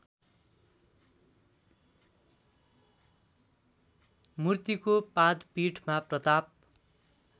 मुर्तिको पादपीठमा प्रताप